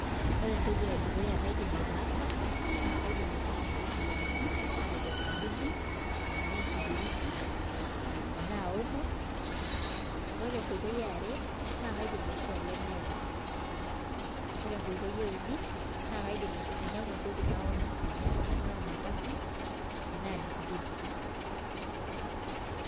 Ore entoki edukuya naidim aitaasa naa kaidim ainyiang'u entoki e aji matejo osabuni enaa enkibiriti enaa omo ore enkoitoi e are naa kaidim aishoo olemeeta ore entoki euni naa kaidim ainyiang'u entoki naonyu anya enaa ormandasi enaa bisukuti.